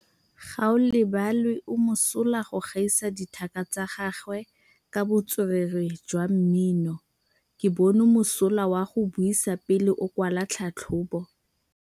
Gaolebalwe o mosola go gaisa dithaka tsa gagwe ka botswerere jwa mmino. Ke bone mosola wa go buisa pele o kwala tlhatlhobô.